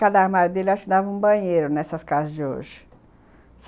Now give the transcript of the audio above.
Cada armário dele, acho, dava um banheiro nessas casas de hoje.